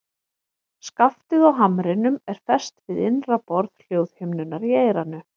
Skaftið á hamrinum er fest við innra borð hljóðhimnunnar í eyranu.